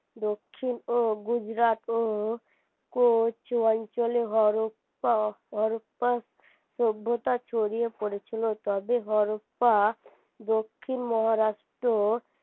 দক্ষিণ ও গুজরাট ও অঞ্চলে সভ্যতা ছড়িয়ে পড়েছিল তবে দক্ষিণ মহারাষ্ট্র